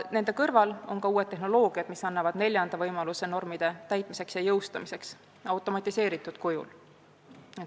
Nende kõrval annavad uued tehnoloogiad tänu automatiseerimisele neljanda võimaluse normide jõustamiseks ja täitmiseks.